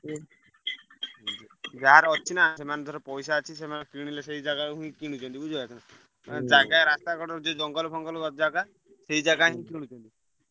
ଯାହାର ଅଛି ନା ସେମାନଙ୍କର ପଇସା ଅଛି ସେମାନେ କିଣିଲେ ସେଇ ଜାଗାକୁ ପୁଣି କିଣୁଛନ୍ତି ବୁଝିପାରୁଛ। ରାସ୍ତା କଡରେ ଯୋଉ ଜଙ୍ଗଲ ଫଙ୍ଗଲ ଜାଗା ସେଇ ଜାଗା ହିଁ କିଣୁଛନ୍ତି।